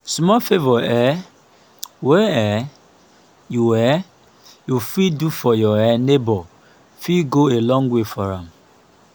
small favor um wey um yu um yu fit do for yur um neibor fit go a long way for am